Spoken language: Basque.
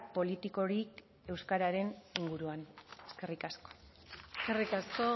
politiko hori euskararen buruan eskerrik asko eskerrik asko